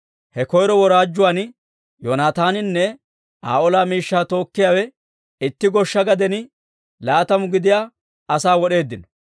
He koyro woraajjuwaan Yoonataaninne Aa ola miishshaa tookkiyaawe itti goshsha gaden laatamu gidiyaa asaa wod'eeddino.